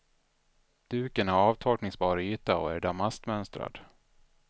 Duken har avtorkningsbar yta och är damastmönstrad.